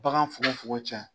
Bagan fogon fogon cɛ.